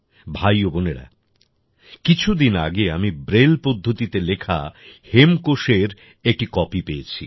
ভাই ও বোনেরা কিছুদিন আগে আমি ব্রেল পদ্ধতিতে লেখা হেমকোষএর একটি কপি পেয়েছি